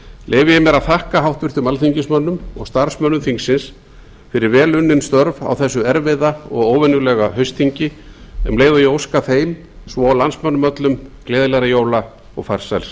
leyfi ég mér að þakka háttvirtum alþingismönnum og starfsmönnum þingsins fyrir vel unnin störf á þessu erfiða og óvenjulega haustþingi um leið og ég óska þeim svo og landsmönnum öllum gleðilegra jóla og farsæls